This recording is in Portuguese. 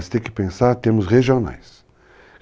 Você tem que pensar, temos regionais.